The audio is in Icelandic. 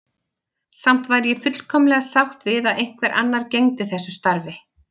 Samt væri ég fullkomlega sátt við að einhver annar gegndi þessu starfi.